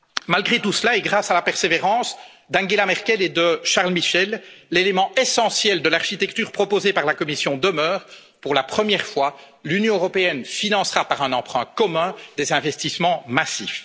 Malgré tout cela, grâce à la persévérance d'Angela Merkel et de Charles Michel, l'élément essentiel de l'architecture proposée par la Commission demeure pour la première fois, l'Union européenne financera par un emprunt commun des investissements massifs.